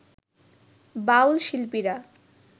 বাউল শিল্পীরা